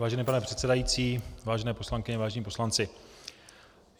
Vážený pane předsedající, vážené poslankyně, vážení poslanci.